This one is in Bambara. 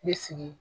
N bɛ sigi